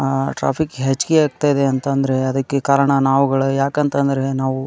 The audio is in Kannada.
ಅಹ್ ಟ್ರಾಫಿಕ್ ಹೆಚ್ಚಗೆ ಆಗತ್ತಾ ಇದೆ ಅಂತ ಅಂದ್ರೆ ಅದಕ್ಕೆ ಕಾರಣ ನಾವ್ ಗಳೆ ಯಾಕಂತ ಅಂತ ಅಂದ್ರೆ --